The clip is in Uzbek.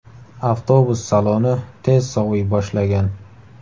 Avtobus saloni tez soviy boshlagan.